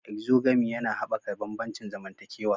Exogamy yana haɓaka bambancin zamantakewa.